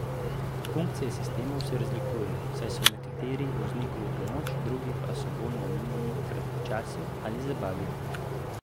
Funkcije sistemov se razlikujejo, saj so nekateri vozniku v pomoč, drugi pa so bolj namenjeni kratkočasju ali zabavi.